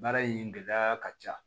Baara in gɛlɛya ka ca